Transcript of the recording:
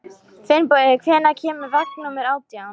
Finnbogi, hvenær kemur vagn númer átján?